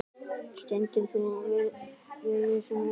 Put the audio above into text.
Stendur þú við þessi ummæli?